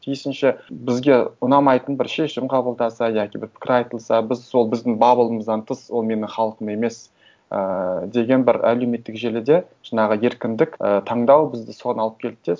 тиісінше бізге ұнамайтын бір шешім қабылдаса яки бір пікір айтылса біз сол біздің баблымыздан тыс ол менің халқым емес ііі деген бір әлеуметтік желіде жаңағы еркіндік і таңдау бізді соған алып келді де